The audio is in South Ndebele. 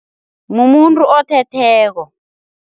Mumuntu othetheko.